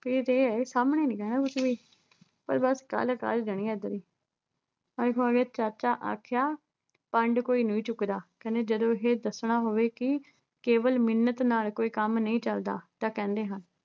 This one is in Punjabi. ਕਈ ਤਾਂ ਇਹ ਐ ਸਾਹਮਣੇ ਨੀ ਕਹਿਣਾ ਕੁੱਝ ਵੀ ਪਰ ਬੱਸ ਗੱਲ ਕਰ ਹੀ ਦੇਣੀ ਆ ਅੱਜ ਵਾਲੀ। ਆਏ ਹਾਏ, ਚਾਚਾ ਆਖਿਆ ਪੰਡ, ਕੋਈ ਨਹੀਂ ਚੁੱਕਦਾ ਕਹਿੰਦੇ ਜਦੋਂ ਇਹੇ ਦੱਸਣਾ ਹੋਵੇ ਕਿ ਕੇਵਲ ਮਿੰਨਤ ਨਾਲ ਕੋਈ ਕੰਮ ਨਹੀਂ ਚੱਲਦਾ ਤਾਂ ਕਹਿੰਦੇ ਹਨ